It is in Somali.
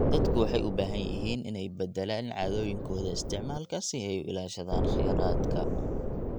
Dadku waxay u baahan yihiin inay beddelaan caadooyinkooda isticmaalka si ay u ilaashadaan kheyraadka.